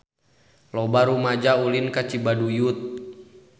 Loba rumaja ulin ka Cibaduyut